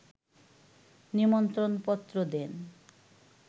নিমন্ত্রণপত্র দেন